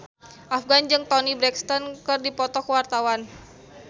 Afgan jeung Toni Brexton keur dipoto ku wartawan